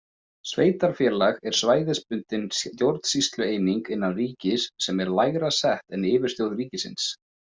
Sveitarfélag er svæðisbundin stjórnsýslueining innan ríkis sem er lægra sett en yfirstjórn ríkisins.